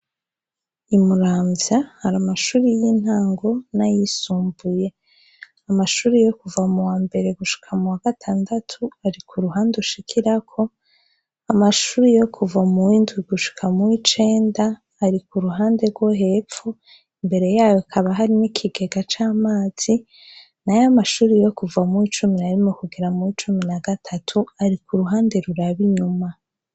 I muramvya hari amashure y'intango n'ayisumbuye, amashure yo kuva muwa mbere gushika muwa gatandatu ari kuruhande ushikirako, amashure yo kuva muw'indwi gushika muw'icenda ari kuruhande rwo hepfo, imbere yaho hakaba hari n’ikigega c'amazi, nayo amashure yo kuva muw'icumi nayo kugera muw'icumi na gatatu ari kuruhande ruraba inyuma.